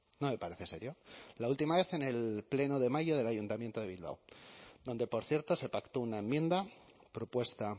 no me parece serio la última vez en el pleno de mayo del ayuntamiento de bilbao donde por cierto se pactó una enmienda propuesta